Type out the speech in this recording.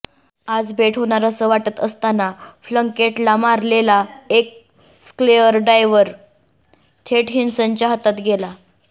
आज भेट होणार असं वाटत असताना प्लंकेटला मारलेला एक स्क्वेअर ड्राइव्ह थेट व्हिन्सच्या हातात गेला